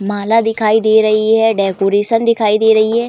माला दिखाई दे रही है। डेकोरेशन दिखाई दे रही है।